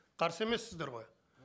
қарсы емессіздер ғой